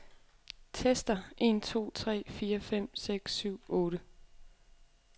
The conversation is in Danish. Tester en to tre fire fem seks syv otte.